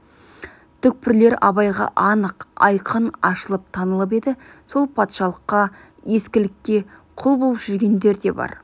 түкпірлер абайға анық айқын ашылып танылып еді сол патшалыққа ескілікке құл боп жүргендер де бар